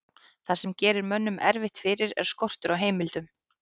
það sem gerir mönnum erfitt fyrir er skortur á heimildum